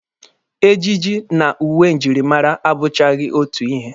Ejiji na uwe njirimara abụchaghị otu ihe.